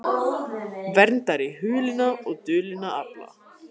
Verndari hulinna og dulinna afla